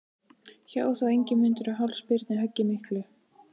Hjó þá Ingimundur á háls Birni höggi miklu.